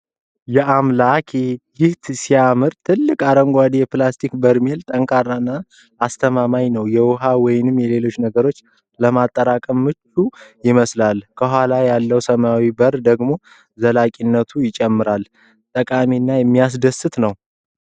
ያአምላኬ! ይህ ሲያምር! ትልቅ አረንጓዴ የፕላስቲክ በርሜል ጠንካራና አስተማማኝ ነው። የውሃ ወይም ሌሎች ነገሮችን ለማጠራቀም ምቹ ይመስላል። ከኋላ ያለው ሰማያዊ በር ደግሞ ዘላቂነቱን ይጨምራል። ጠቃሚና የሚያስደስት ነው።